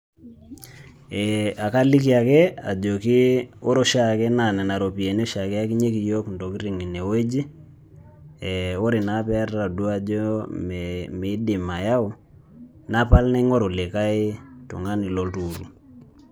EEh akaliki ake ajoki ore oshiake naa nena ropiani oshiake eyakinyeki yiok ntokitin ine wueji, eeh ore naa pee etodua ajo meidim ayau napal naingoru likae tonguna loltukutuk.